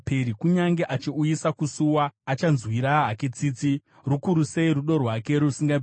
Kunyange achiuyisa kusuwa, achanzwira hake tsitsi, rukuru sei rudo rwake rusingaperi.